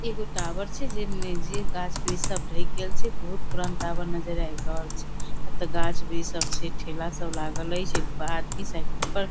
इ एगो टावर छै जे में जे गाछ वृक्ष सब ढक गेल छै बहुत पुरान टावर नजर आब रहल छै एता गाछ वृक्ष सब छै ठेला सब लागल एच्छ ओय पर आदमी साइकिल पर --